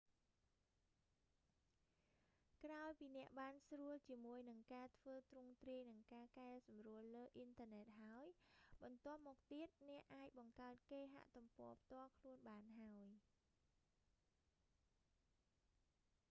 ក្រោយពីអ្នកបានស្រួលជាមួយនឹងការធ្វើទ្រង់ទ្រាយ និងការកែសម្រួលលើអ៊ីនធឺណិតហើយ បន្ទាប់មកទៀត អ្នកអាចបង្កើតគេហទំព័រផ្ទាល់ខ្លួនបានហើយ